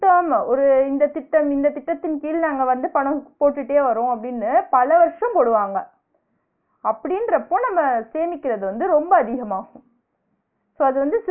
ஒரு இந்த திட்டம் இந்த திட்டத்தின் கீழ் நாங்க வந்து பணம் போட்டுட்டே வரோம் அப்பிடின்னு பல வருஷம் போடுவாங்க. அப்பிடின்றப்ப நம்ம சேமிக்கிறது வந்து ரொம்ப அதிகமாகும். so அது வந்து